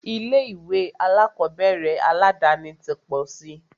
Ilé ìwé alákọ̀berẹ̀ aládàni ti pọ̀ síi.